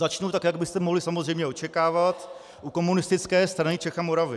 Začnu tak, jak byste mohli samozřejmě očekávat, u Komunistické strany Čech a Moravy.